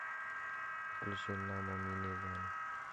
включи намо миниган